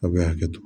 Aw bɛ hakɛto